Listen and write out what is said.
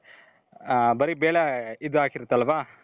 ಬರಿ ಬೇಳೆ ಇದಾಕಿರುತ್ತಲ್ವ .